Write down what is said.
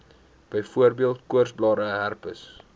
byvoorbeeld koorsblare herpes